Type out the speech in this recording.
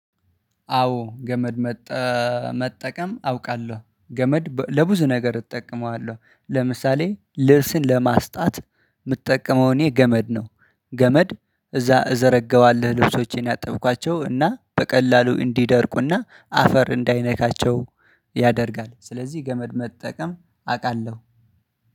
አዎ ገመድ መጠቀም አውቃለሁ፤ ገመድ ለብዙ ነገር እጠቀመዋለሁ። ለምሳሌ ልብስን ለማስጣት የምትጠቀመው እኔ ገመድ ነው። ገመድ እዛ እዘረጋዋለሁ ልብሶቼን ያጠብኳቸው እና በቀላሉ እንዲደርቁና አፈር እንዳይነካቸው ያደርጋል። ስለዚህ ገመድ መጠቀም አውቃለሁ።